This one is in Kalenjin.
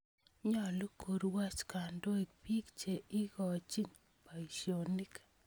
Nyalu korwoch kandoik piik che igochin poisyonik